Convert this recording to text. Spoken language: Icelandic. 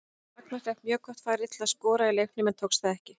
Ragnar fékk mjög gott færi til að skora í leiknum en tókst það ekki.